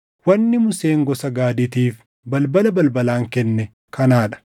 Wanni Museen gosa Gaadiitiif balbala balbalaan kenne kanaa dha: